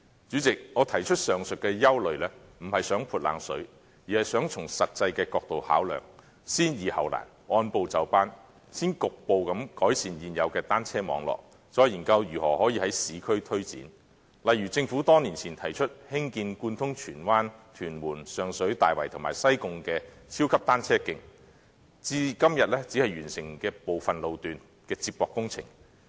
主席，我提出上述的憂慮並不是想"潑冷水"，而是想從實際的角度考量，先易後難，按部就班，先局部改善現有單車網絡，再研究如何可以在市區推展，例如政府多年前提出興建貫通荃灣、屯門、上水、大圍和西貢的超級單車徑，至今只完成部分路段的接駁工程。